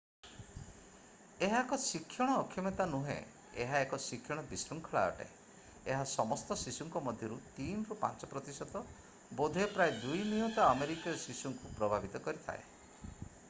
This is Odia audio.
ଏହା ଏକ ଶିକ୍ଷଣ ଅକ୍ଷମତା ନୁହେଁ ଏହା ଏକ ଶିକ୍ଷଣ ବିଶୃଙ୍ଖଳା ଅଟେ ଏହା ସମସ୍ତ ଶିଶୁଙ୍କ ମଧ୍ୟରୁ 3 ରୁ 5 ପ୍ରତିଶତ ବୋଧହୁଏ ପ୍ରାୟ 2 ନିୟୁତ ଆମେରିକୀୟ ଶିଶୁଙ୍କୁ ପ୍ରଭାବିତ କରିଥାଏ